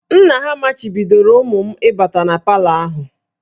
Nna ha machibidoro ụmụ m ịbata na palọ ahụ